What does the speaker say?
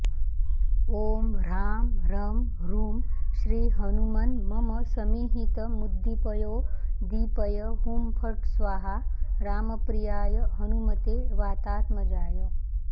ॐ ह्रां ह्रं ह्रूं श्रीहनुमन्मम समीहितमुद्दीपयोद्दीपय हुं फट् स्वाहा रामप्रियाय हनुमते वातात्मजाय